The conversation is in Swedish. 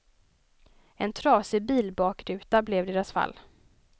En trasig bilbakruta blev deras fall.